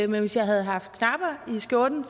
men hvis jeg havde haft knapper i skjorten